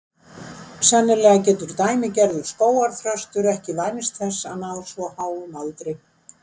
Sennilega getur dæmigerður skógarþröstur ekki vænst þess að ná svo háum aldri.